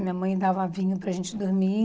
Minha mãe dava vinho para gente dormir.